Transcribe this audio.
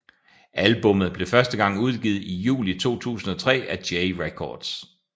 Albummet blev første gang udgivet i juli 2003 af J Records